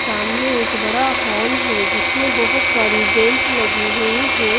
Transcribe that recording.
सामने एक बड़ा हॉल है जिसमें बहोत सारी बेंच लगी हुई है।